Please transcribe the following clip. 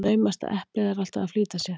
Naumast að eplið er alltf að flýta sér.